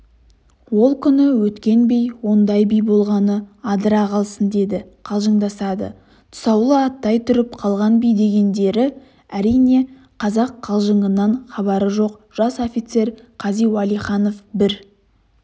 ол күні өткен би ондай би болғаны адыра қалсын деп қалжыңдасады тұсаулы аттай тұрып қалған би дегендері әрине қазақ қалжыңынан хабары жоқ жас офицер қази уәлиханов бір